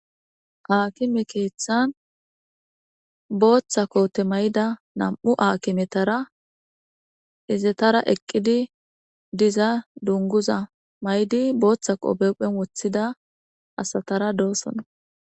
haakime keeththan booththa koote may7ida nam7u aakimetara izetara eqqidi diza dunguza maydi booththa qopephen woththida asatara dooson